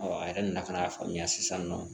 a yɛrɛ nana ka na faamuya sisan nɔ